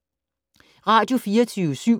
Radio24syv